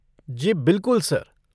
जी बिल्कुल, सर।